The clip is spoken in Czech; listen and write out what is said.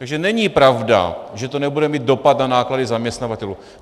Takže není pravda, že to nebude mít dopad na náklady zaměstnavatelů.